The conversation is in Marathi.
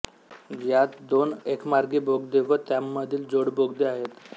यात दोन एकमार्गी बोगदे व त्यांमधील जोडबोगदे आहेत